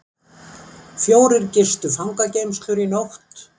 Fjórir gistu fangageymslur í nótt